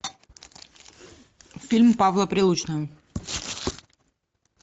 фильм павла прилучного